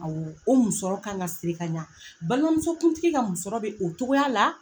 Awɔ o musɔrɔ ka ŋa siri k'a ɲa balimamusokuntigi ka musɔrɔ be o cogoya la